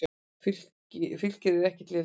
Fylkir er ekkert lélegt lið.